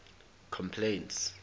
complaints